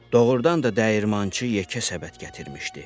Doğurdan da dəyirmançı yekə səbət gətirmişdi.